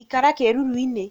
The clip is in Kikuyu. Ikara kĩruru-inĩ